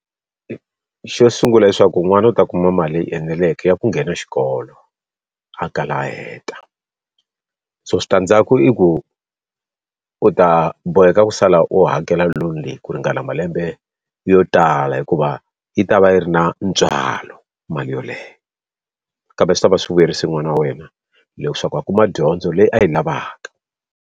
Xo sungula leswaku n'wana u ta kuma mali leyi eneleke ya ku nghena xikolo a kala a heta. So switandzhaku i ku, u ta boheka ku sala u ha ndlela loan-i leyi ku ringana malembe yo tala hikuva yi ta va yi ri na ntswalo mali yoleyo kambe swi ta va swi vuyerise n'wana wa wena leswaku a kuma dyondzo leyi a yi lavaka.